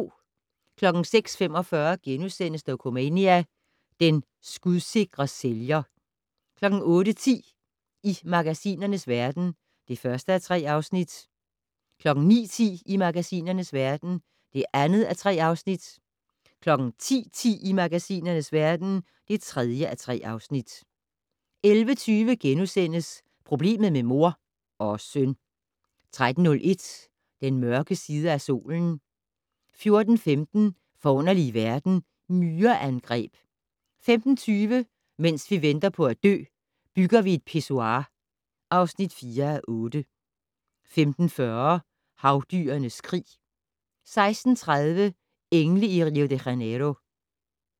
06:45: Dokumania: Den skudsikre sælger * 08:10: I magasinernes verden (1:3) 09:10: I magasinernes verden (2:3) 10:10: I magasinernes verden (3:3) 11:20: Problemet med mor - og søn! * 13:01: Den mørke side af solen 14:15: Forunderlige verden - Myreangreb 15:20: Mens vi venter på at dø - Bygger vi et pissoir (4:8) 15:40: Havdyrenes krig 16:30: Engle i Rio de Janeiro